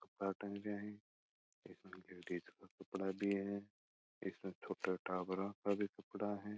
इसमें कुछ छोटे टाबरो का भी कपडा है।